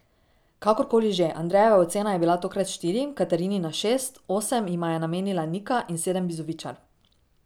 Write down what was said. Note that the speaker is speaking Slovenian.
Kakor koli že, Andrejeva ocena je bila tokrat štiri, Katarinina šest, osem jima je namenila Nika in sedem Bizovičar.